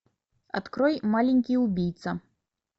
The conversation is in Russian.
открой маленький убийца